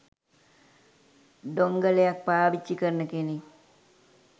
ඩොංගලයක් පාවිච්චි කරන කෙනෙක්.